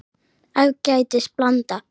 Ágætis blanda.